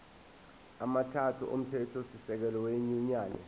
amathathu omthethosisekelo wenyunyane